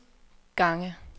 gange